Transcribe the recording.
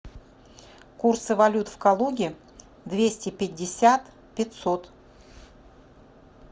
курсы валют в калуге двести пятьдесят пятьсот